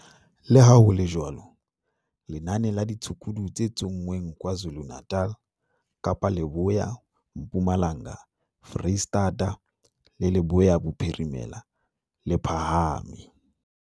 Leha ho le jwalo, lenane la ditshukudu tse tsonngweng KwaZulu-Natal, Kapa Leboya, Mpumalanga, Freistata le Leboya Bophirimela, le phahame.